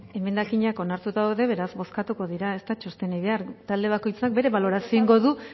emendakinak onartuta daude beraz bozkatuko dira ez da txostenik behar talde bakoitzak bere balorazioa egingo du